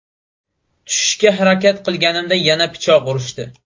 Tushishga harakat qilganimda yana pichoq urishdi.